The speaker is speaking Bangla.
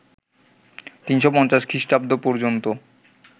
৩৫০ খ্রিষ্টাব্দ পর্যন্ত